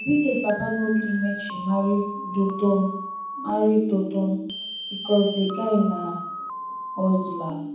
abigail papa no gree make she marry dotun marry dotun because the guy na hustler